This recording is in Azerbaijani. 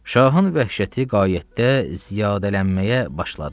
Şahın vəhşəti qayyətdə ziyadələnməyə başladı.